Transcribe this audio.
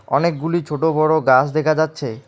অনেকগুলি ছোট বড়ো গাছ দেখা যাচ্ছে।